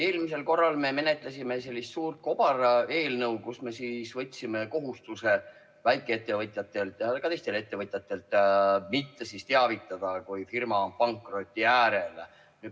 Eelmisel korral me menetlesime sellist suurt kobareelnõu, millega me võtsime väikeettevõtjatelt ja ka teistelt ettevõtjatelt kohustuse teavitada sellest, kui firma on pankroti äärel.